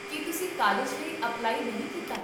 ਕੀ ਤੁਸੀਂ ਕਾਲਜ ਲਈ ਅਪਲਾਈ ਨਹੀਂ ਕੀਤਾ?